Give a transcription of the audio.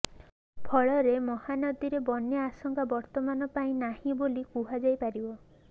ଫଳରେ ମହାନଦୀରେ ବନ୍ୟା ଆଶଂକା ବର୍ତ୍ତମାନ ପାଇଁ ନାହିଂ ବୋଲି କୁହାଯାଇପାରିବ